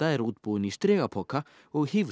er útbúin í strigapoka og